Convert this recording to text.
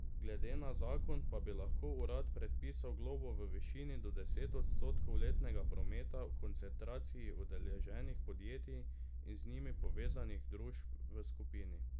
Glede na zakon pa bi lahko urad predpisal globo v višini do deset odstotkov letnega prometa v koncentraciji udeleženih podjetij in z njimi povezanih družb v skupini.